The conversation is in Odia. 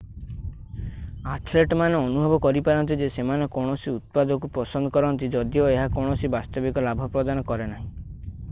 ଆଥେଲେଟମାନେ ଅନୁଭବ କରିପାରନ୍ତି ଯେ ସେମାନେ କୌଣସି ଉତ୍ପାଦକୁ ପସନ୍ଦ କରନ୍ତି ଯଦିଓ ଏହା କୌଣସି ବାସ୍ତବିକ ଲାଭ ପ୍ରଦାନ କରେ ନାହିଁ